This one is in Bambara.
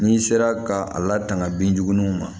N'i sera ka a latanga binjugu ninnu ma